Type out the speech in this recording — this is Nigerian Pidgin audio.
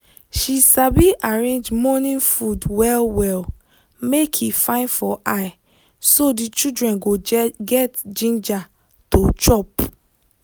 she sabi arrange morning food well well make e fine for eye so the children go get ginger to chop.